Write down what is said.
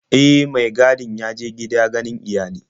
E, mai gadin ya je gida ganin iyali.